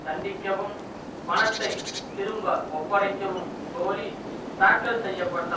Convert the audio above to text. தண்டிக்கவும் பணத்தை திரும்ப ஒப்படைக்கவும் கோரி தாக்கல் செய்ய பட்ட